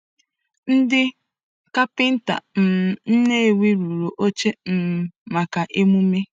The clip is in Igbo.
Ndị kapịnta um Nnewi rụrụ oche um maka emume.